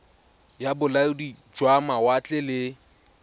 ya bolaodi jwa mawatle le